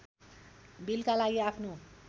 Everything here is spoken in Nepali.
बिलका लागि आफ्नो